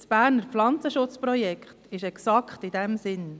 Das Berner Pflanzenschutzprojekt ist exakt in diesem Sinn.